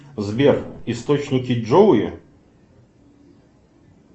сбер источники джоуи